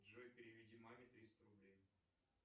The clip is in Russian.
джой переведи маме триста рублей